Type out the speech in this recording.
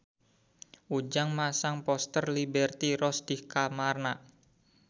Ujang masang poster Liberty Ross di kamarna